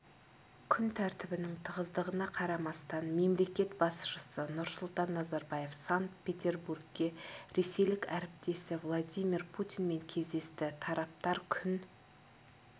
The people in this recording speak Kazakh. күн тәртібінің тығыздығына қарамастан мемлекет басшысы нұрсұлтан назарбаев санкт-петербургте ресейлік әріптесі владимир путинмен кездесті тараптар күн